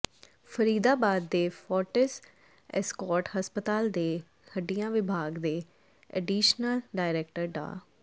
ਫਰੀਦਾਬਾਦ ਦੇ ਫੋਰਟਿਸ ਐਸਕੋਰਟਸ ਹਸਪਤਾਲ ਦੇ ਹੱਡੀਆਂ ਵਿਭਾਗ ਦੇ ਐਡੀਸ਼ਨਲ ਡਾਇਰੈਕਟਰ ਡਾ